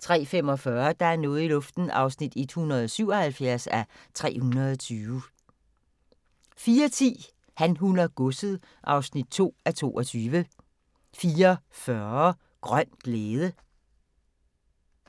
03:45: Der er noget i luften (177:320) 04:10: Han, hun og godset (2:22) 04:40: Grøn glæde